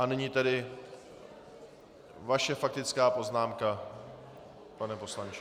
A nyní tedy vaše faktická poznámka, pane poslanče.